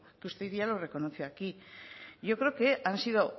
que usted ya lo reconoció aquí yo creo que han sido